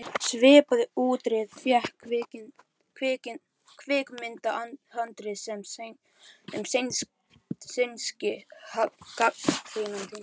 Svipaða útreið fékk kvikmyndahandrit sem sænski gagnrýnandinn